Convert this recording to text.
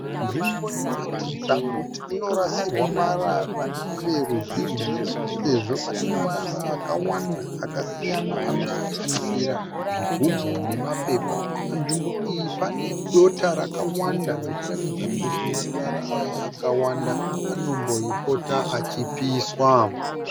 Nzvimbo inoratidza kuti inorasirwa marara neveruzhinji sezvo pane marara akawanda akasiyana anosanganisira zvigubhu nemapepa. Panzvimbo iyi pane dota rakawanda zvichiratidza kuti marara aya akawanda anombopota achipiswa.